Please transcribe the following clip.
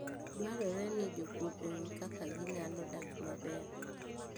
Dwarore ni jopur ong'e kaka ginyalo dak maber.